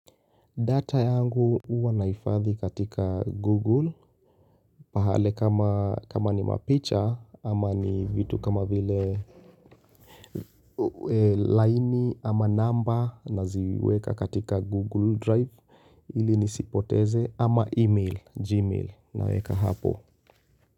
Data yangu huwa nahifadhi katika Google pahale kama, kama ni mapicha ama ni vitu kama vile laini ama number naziweka katika Google Drive ili nisipoteze ama email, Gmail, naweka hapo.